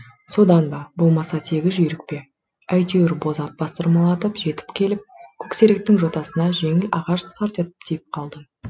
содан ба болмаса тегі жүйрік пе әйтеуір боз ат бастырмалатып жетіп келіп көксеректің жотасына жеңіл ағаш сарт етіп тиіп қалды